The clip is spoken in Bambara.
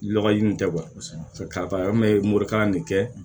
Lɔgɔ ji nin tɛ kosɛbɛ ka morikalan de kɛ